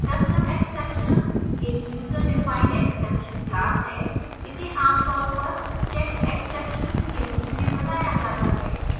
custom exception एक user defined exception class है इसे आमतौर पर checked exceptions के रूप में बनाया जाता है